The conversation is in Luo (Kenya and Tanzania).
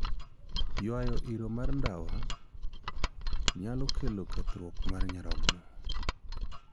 Ywayo iro mar ndawa nyalo medo kethruok mar nyarogo.